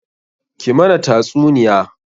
Ki mana tasuniya!